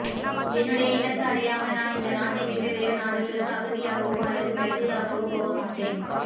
என்னுடைய இலக்கு அடையாமல் நான் இந்த நாட்டைவிட்டு வேறுநாடுகளுக்கு அகதியாகவோ அல்லது பிரஜையாகாவோ போகமாட்டேன்